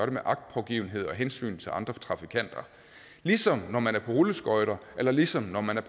med agtpågivenhed og under hensyn til andre trafikanter ligesom når man er på rulleskøjter eller ligesom når man er